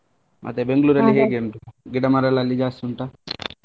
ಮತ್ತೆ Bangalore ಅಲ್ಲಿ ಉಂಟು ಗಿಡ ಮರಗಳಲೆಲ್ಲಾ ಜಾಸ್ತಿ ಉಂಟಾ?